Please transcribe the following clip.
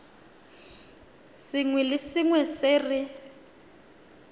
sengwe le sengwe se re